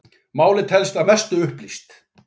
Málið telst að mestu upplýst